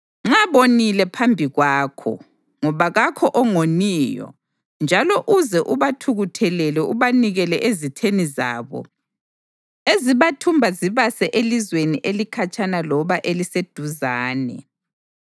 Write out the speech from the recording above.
Nxa bonile phambi kwakho, ngoba kakho ongoniyo njalo uze ubathukuthelele ubanikele ezitheni zabo ezibathumba zibase elizweni elikhatshana loba eliseduzane,